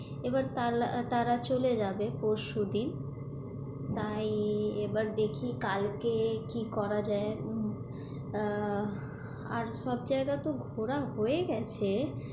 এবার তারা চলে যাবে পরশুদিন, তাই এবার দেখি কালকে কি করা যায় এখন আহ আর সব জায়গা তো ঘোরা হয়ে গেছে,